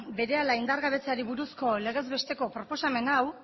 berehala indargabetzeari buruz legez besteko proposamen hau